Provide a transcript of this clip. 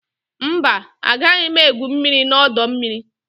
Mba, agaghị m egwu mmiri na ọdọ mmiri